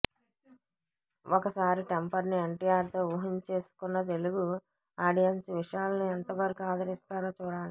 ఒకసారి టెంపర్ ను ఎన్టీఆర్ తో ఊహించేసుకున్న తెలుగు ఆడియెన్స్ విశాల్ ను ఎంతవరకు ఆదరిస్తారో చూడాలి